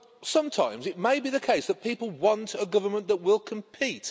Sometimes it may be the case that people want a government that will compete.